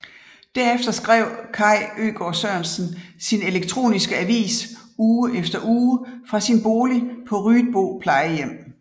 Derefter skrev Kaj Øgaard Sørensen sin elektroniske avis uge efter uge fra sin bolig på Ryetbo Plejehjem